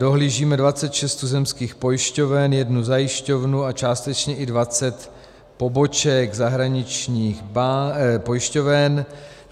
Dohlížíme 26 tuzemských pojišťoven, jednu zajišťovnu a částečně i 20 poboček zahraničních pojišťoven.